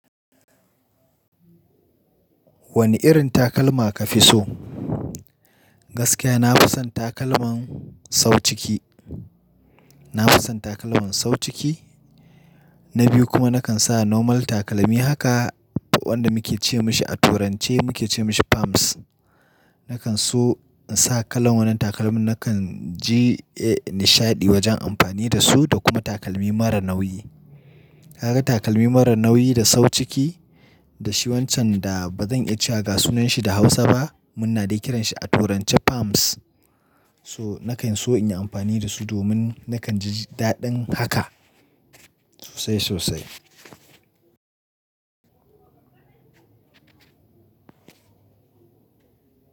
Wane irin takalma ka fi so? Gaskiya na fi son takalman sau ciki. Na fi son takalman sau ciki, na biyu kuma nakan sa normal takalmi haka wanda muke ce mashi a turance muke ce mashi palms. Nakan so in sa kalan wannan takalmin, nakan ji, eh, nishadi wajen amfani da su da kuma takalmi mara nauyi. Kaga takalmi mara nauyi da sau ciki da shi wancan da bazan iya cewa gasunanshi da Hausa ba, muna dai kiran shi a turance palms. So nakan so in yi amfani da su domin nakan ji daɗin haka sosai sosai.